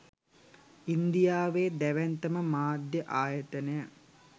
ඉන්දියාවේ දැවැන්තම මාධ්‍ය ආයතනය